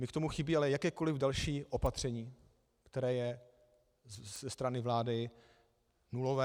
Mně k tomu chybí ale jakékoliv další opatření, které je ze strany vlády nulové.